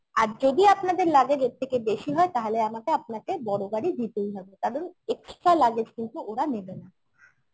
আর যদি আপনাদের luggage এর থেকে বেশি হয় তাহলে আমাকে আপনাকে বড় গাড়ি দিতেই হবে কারণ extra luggage কিন্তু ওরা নেবে না